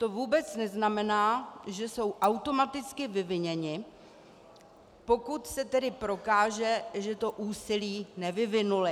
To vůbec neznamená, že jsou automaticky vyviněny, pokud se tedy prokáže, že to úsilí nevyvinuly.